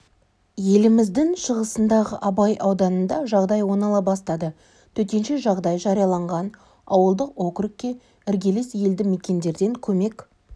еліміздің шығысындағы абай ауданында жағдай оңала бастады төтенше жағдай жарияланған ауылдық округке іргелес елді мекендерден көмек